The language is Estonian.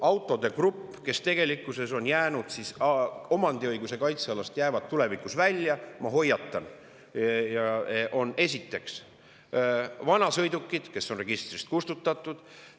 Autode grupp, mis tegelikkuses omandiõiguse kaitsealast jäävad tulevikus välja – ma hoiatan –, on esiteks vanasõidukid, mis on registrist kustutatud.